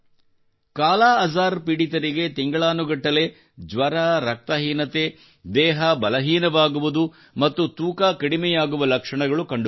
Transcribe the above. ಕಾಲಾಅಜಾರ್ ಪೀಡಿತರಿಗೆ ತಿಂಗಳಾನುಗಟ್ಟಲೆ ಜ್ವರ ರಕ್ತಹೀನತೆ ದೇಹ ಬಲಹೀನವಾಗುವುದು ಮತ್ತು ತೂಕ ಕಡಿಮೆಯಾಗುವ ಲಕ್ಷಣಗಳು ಕಂಡುಬರುತ್ತವೆ